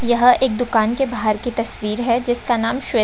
यह एक दुकान की बाहर की तस्वीर है जिसका नाम स्वे --